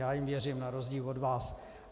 Já jim věřím na rozdíl od vás.